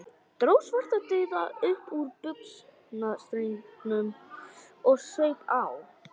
Dró Svartadauða upp úr buxnastrengnum og saup á.